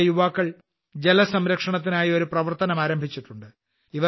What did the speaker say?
ഇവിടുത്തെ യുവാക്കൾ ജലസംരക്ഷണത്തിനായി ഒരു പ്രവർത്തനം ആരംഭിച്ചിട്ടുണ്ട്